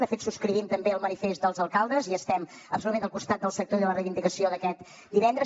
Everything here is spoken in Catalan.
de fet subscrivim també el manifest dels alcaldes i estem absolutament al costat del sector i de la reivindicació d’aquest divendres